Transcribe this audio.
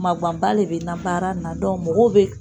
Maguwanba de bɛ n na baara in na mɔgɔw bɛ